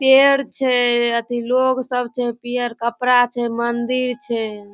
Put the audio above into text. पेड़ छय अथी लोग सब छे पियर कपरा छे मंदिर छे।